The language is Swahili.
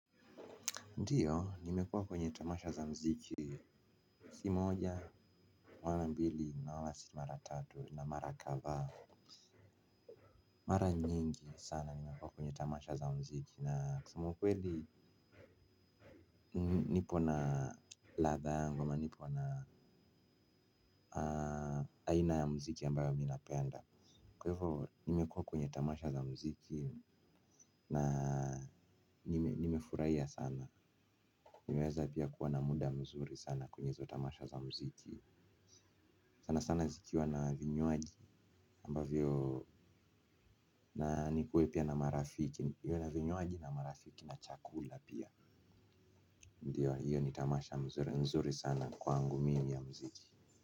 Ndiyo, nimekuwa kwenye tamasha za muziki, si moja, wala mbili, na wala si mara tatu, na mara kadhaa, mara nyingi sana nimekuwa kwenye tamasha za muziki. Na kusema ukweli nipo na ladha yangu, ama nipo na aina ya mziki ambayo minapenda kwa hivyo nimekua kwenye tamasha za muziki na nimefurahia sana, nimeweza pia kuwa na muda mzuri sana kwenye tamasha za muziki, sana sana zikiwa na vinywaji ambavyo na nikuwe pia na marafiki niwe na vinywaji na marafiki na chakula pia. Ndiyo hiyo ni tamasha mzuri sana kwangu mimi ya muziki.